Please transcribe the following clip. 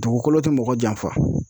Dugukolo te mɔgɔ janfa.